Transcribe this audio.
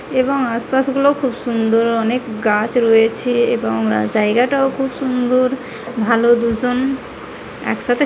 এবং আশপাশ গুলো খুব সুন্দর অনেক গাছ রয়েছে এবং রা জায়গাটাও খুব সুন্দর ভালো দুজন একসাথে --